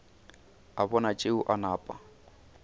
a bona tšeo a napa